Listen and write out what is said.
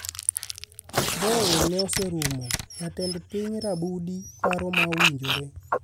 Mbowe ne osumo Jatend piny Rabudi paro ma owinjore